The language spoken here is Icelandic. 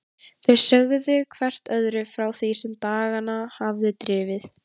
Þau sögðu hvert öðru frá því sem á dagana hafði drifið.